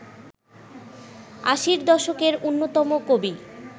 আশির দশকের অন্যতম কবি